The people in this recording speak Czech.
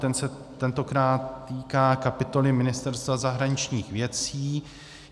Ten se tentokrát týká kapitoly Ministerstva zahraničních věcí.